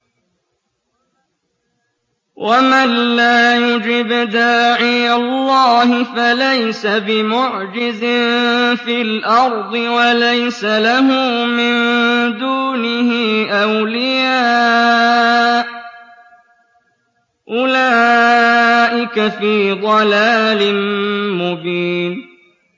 وَمَن لَّا يُجِبْ دَاعِيَ اللَّهِ فَلَيْسَ بِمُعْجِزٍ فِي الْأَرْضِ وَلَيْسَ لَهُ مِن دُونِهِ أَوْلِيَاءُ ۚ أُولَٰئِكَ فِي ضَلَالٍ مُّبِينٍ